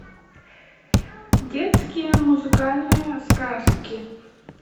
детские музыкальные сказки